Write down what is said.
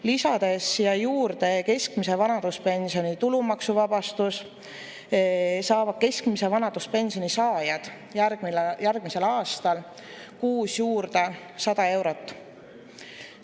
Lisades siia juurde keskmise vanaduspensioni tulumaksuvabastuse, saavad keskmise vanaduspensioni saajad järgmisel aastal kuus juurde 100 eurot.